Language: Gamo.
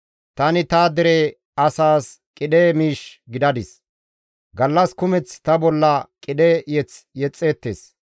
Tani ta dere asaas qidhe miish gidadis; gallas kumeth ta bolla qidhe mazamure yexxeettes.